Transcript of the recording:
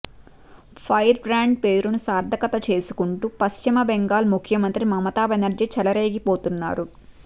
fire brand పేరును సార్థకత చేసుకుంటూ పశ్చిమబెంగాల్ ముఖ్యమంత్రి మమతాబెనర్జీ చెలరేగిపోతున్నారు